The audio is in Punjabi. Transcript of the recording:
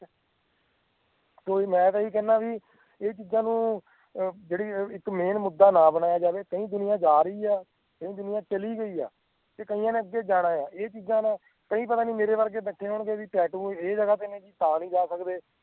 ਕੋਈ ਮੈਂ ਤਾਂ ਇਹੀ ਕਹਿਣਾ ਆ ਵੀ ਇਹ ਚੀਜ਼ਾਂ ਨੂੰ ਅਹ ਜਿਹੜੀ ਇੱਕ main ਮੁੱਦਾ ਨਾ ਬਣਾਇਆ ਜਾਵੇ ਕਈ ਦੁਨੀਆਂ ਜਾ ਰਹੀ ਆ ਤੇ ਕਈ ਦੁਨੀਆਂ ਚਲੀ ਗਈ ਆ ਤੇ ਕਇਆਂ ਨੇ ਅੱਗੇ ਜਾਣਾ ਆ ਇਹ ਚੀਜ਼ਾਂ ਦਾ ਕੋਈ ਪਤਾ ਨਹੀਂ ਮੇਰੇ ਵਰਗੇ ਬੱਚਿਆਂ ਦੇ tattoo ਆ ਇਹ ਤਾਂ ਨੀ ਜਾ ਸਕਦੇ